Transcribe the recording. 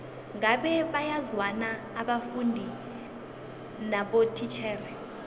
ngabe bayazwana abafundi nabotitjhere